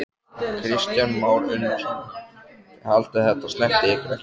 Kristján Már Unnarsson: Þið haldið að þetta snerti ykkur ekki?